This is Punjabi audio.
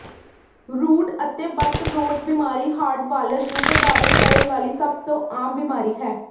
ਰੂਟ ਅਤੇ ਬੱਟ ਰੋਟ ਬਿਮਾਰੀ ਹਾਰਡਵਾਲਜ਼ ਨੂੰ ਪ੍ਰਭਾਵਿਤ ਕਰਨ ਵਾਲੀ ਸਭ ਤੋਂ ਆਮ ਬਿਮਾਰੀ ਹੈ